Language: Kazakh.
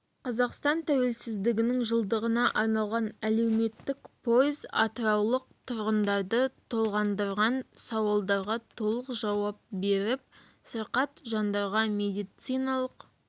қазақстан тәуелсіздігінің жылдығына арналған әлеуметтік пойыз атыраулық тұрғындарды толғандырған сауалдарға толық жауап беріп сырқат жандарға медициналық